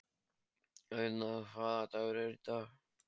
Auðna, hvaða dagur er í dag?